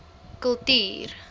kultuur